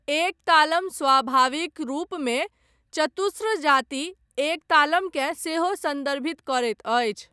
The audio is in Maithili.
एक तालम स्वाभाविक रूपमे चतुस्र जाति एक तालमकेँ सेहो सन्दर्भित करैत अछि।